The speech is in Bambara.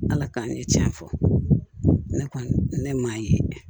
Ala k'an ɲɛ tiɲɛ fɔ ne kɔni ne m'a ye